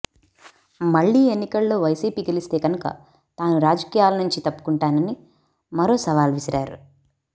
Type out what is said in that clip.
మళ్లీ ఎన్నికల్లో వైసీపీ గెలిస్తే కనుక తాను రాజకీయాల నుంచి తప్పుకుంటానని మరో సవాల్ విసిరారు